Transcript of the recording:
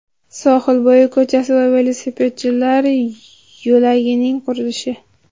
Sohilbo‘yi ko‘chasi va velosipedchilar yo‘lagining qurilishi.